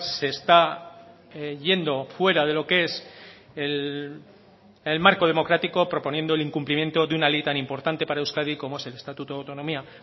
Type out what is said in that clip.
se está yendo fuera de lo que es el marco democrático proponiendo el incumplimiento de una ley tan importante para euskadi como es el estatuto de autonomía